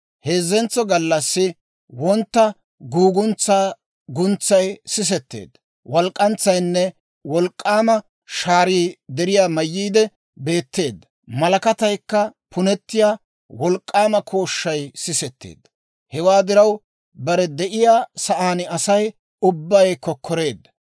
Heezzentso gallassi wontta guuguntsaa guntsay sisetteedda. Walk'k'antsaynne wolk'k'aama shaarii deriyaa mayyiide beetteedda; malakataykka punettiyaa wolk'k'aama kooshshay sisetteedda. Hewaa diraw, bare de'iyaa sa'aan Asay ubbay kokkoreedda.